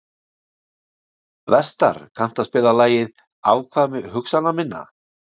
Vestar, kanntu að spila lagið „Afkvæmi hugsana minna“?